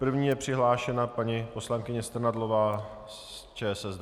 První je přihlášena paní poslankyně Strnadlová z ČSSD.